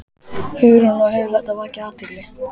Hugrún: Og hefur þetta vakið athygli?